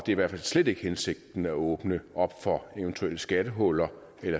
i hvert fald slet ikke hensigten at åbne op for eventuelle skattehuller